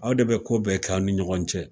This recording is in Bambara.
Anw de bi ko bɛɛ k'aw ni ɲɔgɔn cɛ